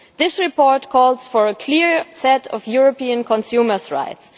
This report calls for a clear set of European consumers' rights.